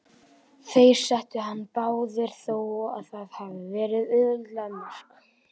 Þeir settu hann báðir, þó að það hafi verið auðveld mörk.